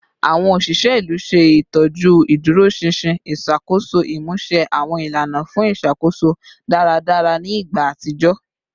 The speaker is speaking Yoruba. Awọn oṣiṣẹ ilu ṣe itọju iduroṣinṣin iṣakoso, imuse awọn ilana fun iṣakoso daradara ni igba atijọ